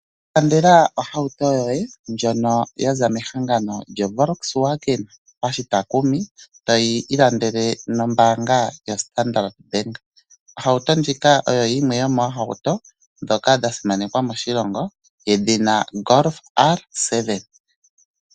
Ilandela ohauto yoye ndjono yaza mehangano lyoVolkswagen moshitakumi, toyi ilandele nombaanga yaStandard bank. Ohauto ndjika oyo yimwe yomoohauto dhoka dha simanekwa moshilongo yedhina golf R7.